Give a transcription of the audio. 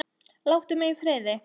Láttu mig í friði!